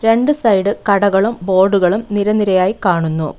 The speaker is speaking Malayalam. രണ്ട് സൈഡ് കടകളും ബോർഡുകളും നിര നിരയായി കാണുന്നു.